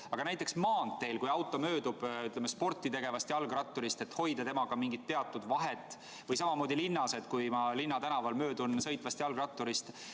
Aga kas näiteks maanteel, kui auto möödub sporti tegevast jalgratturist, ei peaks sõidukijuht samuti hoidma temaga teatud vahet, või samamoodi linnas, kui ma möödun tänaval sõitvast jalgratturist?